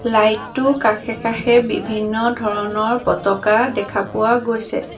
Light টোৰ কাষে কাষে বিভিন্ন ধৰণৰ পতাকা দেখা পোৱা গৈছে।